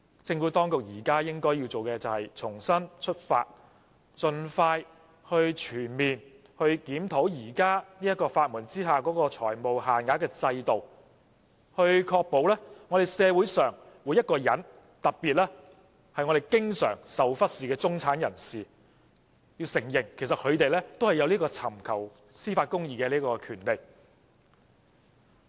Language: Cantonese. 政府當局現時應重新出發，盡快全面檢討現時在法援下的財務限額制度，確保社會上每一個人，特別是經常被忽視的中產人士，可以享有尋求司法公義的權利。